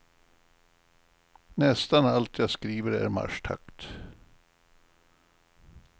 Nästan allt jag skriver är marschtakt.